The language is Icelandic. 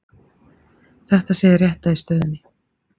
Þetta sé hið rétta í stöðunni